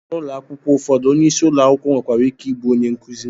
N'ụlọ akwụkwọ ụfọdụ, onyeisi ụlọ akwụkwọ nwekwara ike ịbụ onye nkuzi